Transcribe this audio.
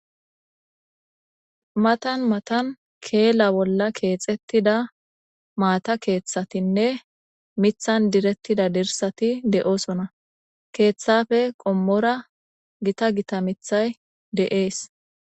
Matan matan keela bolla keexettida maata keeththatinne mithan direttida dirsati de7osona. Keeththappe qommora gita gita mithay de7ees.